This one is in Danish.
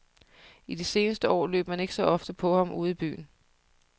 I de seneste år løb man ikke så ofte på ham ude i byen.